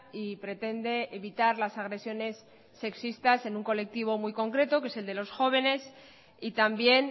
y pretende evitar las agresiones sexistas en un colectivo muy concreto que es el de los jóvenes y también